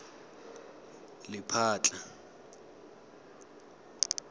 lephatla